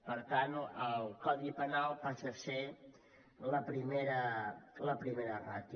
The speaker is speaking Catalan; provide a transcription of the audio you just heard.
per tant el codi penal passa a ser la primera ràtio